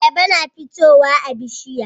Ayaba na fitowa a bishiya